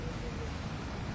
Yəni bu açılacaqdır.